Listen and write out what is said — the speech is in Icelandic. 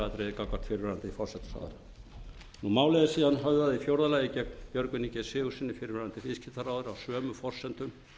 gagnvart kæruatriði fyrrverandi forsætisráðherra í fjórða lagi er málið síðan höfðað gegn björgvini g sigurðssyni fyrrverandi viðskiptaráðherra á sömu forsendum